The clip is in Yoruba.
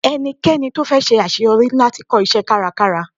Ẹnikẹ́ni tí ó fẹ́ ṣe àṣeyọrí ní láti kọ́ iṣẹ́ kárakára.